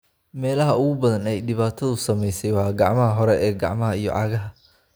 Meelaha ugu badan ee ay dhibaatadu saameysey waa gacmaha hore, gacmaha iyo cagaha.